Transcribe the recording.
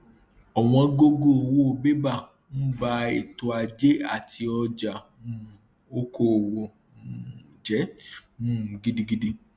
ọwọn gógó owó bébà ń ba ètò ajé àti ọjà um okoòwò um jẹ um gidigidi